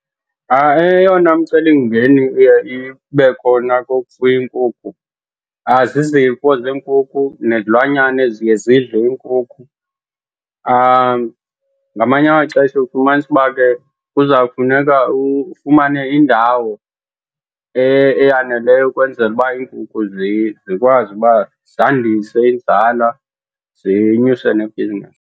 Eyona mcelimngeni iye ibe khona kukufuya iinkukhu zizifo zeenkuku nezilwanyana eziye zidle iinkukhu. Ngamanye amaxesha ufumanise uba ke kuzawufuneka ufumane indawo eyaneleyo ukwenzela uba iinkukhu zikwazi uba zandise inzala, zinyuse nebhizinesi.